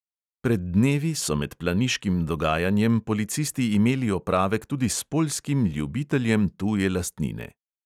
Pred dnevi so med planiškim dogajanjem policisti imeli opravek tudi s poljskim ljubiteljem tuje lastnine.